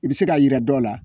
I bɛ se ka yira dɔw la